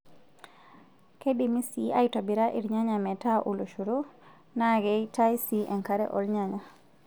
Keidimi sii aitobira irnyanya metaa oloshoro, naa keitaae sii enkare oornyanya .